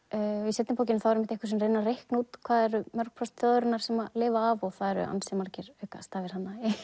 í seinni bókinni er einhver sem reynir að reikna út hvað eru mörg prósent þjóðarinnar sem lifa af og það eru ansi margir aukastafir